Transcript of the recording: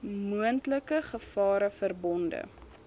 moontlike gevare verbonde